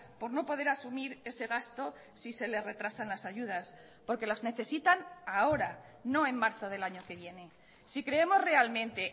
por no poder asumir ese gasto si se le retrasan las ayudas porque las necesitan ahora no en marzo del año que viene si creemos realmente